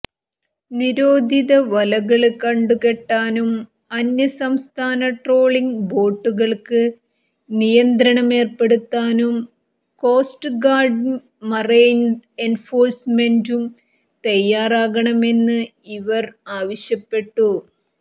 നിരോധിത വലകള് കണ്ടു കെട്ടാനും അന്യസംസ്ഥാന ട്രോളിങ്ങ് ബോട്ടുകള്ക്ക് നിയന്ത്രണമേര്പ്പെടുത്താനും കോസ്റ്റ് ഗാര്ഡ് മറൈന് എന്ഫോഴ്സ്മെന്റും തയ്യാറാകണമെന്ന് ഇവര് ആവശ്യപ്പെട്ടു